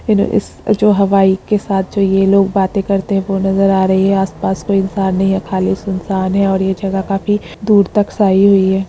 You know इस जो हवाई के साथ ये जो ये लोग बाते करते हुए नजर आ रहे हैं आसपास कोई इन्सान नही हैं खली सुनसान है और ये जगह काफी दूर तक साई हुई है।